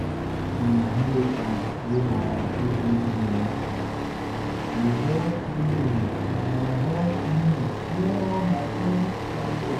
the inheritance wey my aunty give me help me help me clear all my credit card debt.